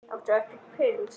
Áttu ekkert pils?